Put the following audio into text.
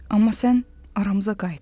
Amma sən aramıza qayıtdın.